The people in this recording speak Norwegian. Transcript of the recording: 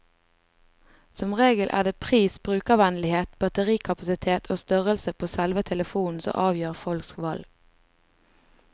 Som regel er det pris, brukervennlighet, batterikapasitet og størrelsen på selve telefonen som avgjør folks valg.